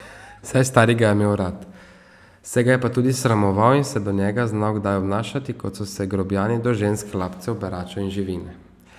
Saj stari ga je imel rad, se ga je pa tudi sramoval in se do njega znal kdaj obnašati, kot so se grobijani do žensk, hlapcev, beračev in živine.